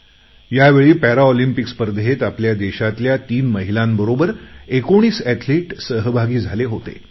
ह्या वेळी पॅरालिम्पिक्स स्पर्धेत आपल्या देशातल्या तीन महिलांबरोबर १९ अॅथलिट सहभागी झाले होते